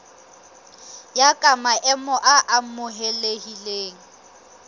ya ka maemo a amohelehileng